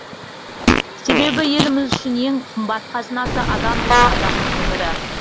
себебі еліміз үшін ең қымбат қазынасы адам және адамның өмірі